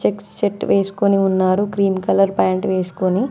Checks shirt వేసుకొని ఉన్నారు green colour pant వేసుకొని.